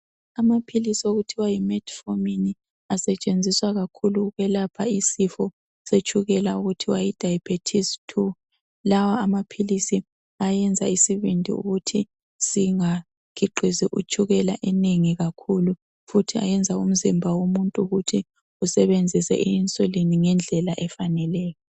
Amaphilisi okuthiwa yi Metformin asetshenziswa kakhulu ukwelapha isifo setshukela okuthiwa yi diabetes2 lawa amaphilisi ayenza isibindi ukuthi singakhiqizi utshukela enengi kakhulu futhi ayenza umzimba womuntu ukuthi usebenzise i insulin ngendlela efaneleyo.